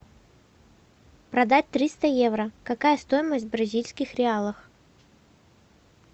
продать триста евро какая стоимость в бразильских реалах